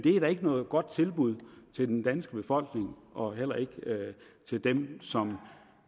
er da ikke noget godt tilbud til den danske befolkning og heller ikke til dem som